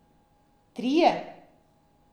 Trije!